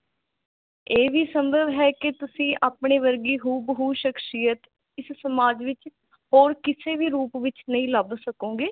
ਇਹ ਵੀ ਸੰਭਵ ਹੈ ਕਿ ਤੁਸੀਂ ਆਪਣੇ ਵਰਗੀ ਹੂ ਬ ਹੂ ਸ਼ਖ਼ਸੀਅਤ ਇਸ ਸਮਾਜ ਵਿਚ ਹੋਰ ਕਿਸੇ ਵੀ ਰੂਪ ਵਿਚ ਨਹੀਂ ਲੱਭ ਸਕੋਗੇ